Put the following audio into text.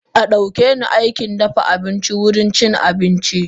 Adaukeni Aikin dafa abincin wurin cin abincin.